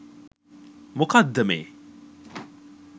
මොකද්ද මේ